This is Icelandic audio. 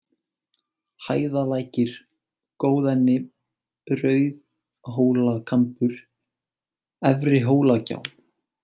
Hæðalækir, Góðenni, Rauðhólakambur, Efrihólagjá